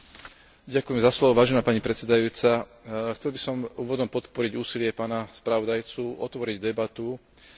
Chcel by som úvodom podporiť úsilie pána spravodajcu otvoriť debatu o mediálnom prostredí na pôde Európskeho parlamentu.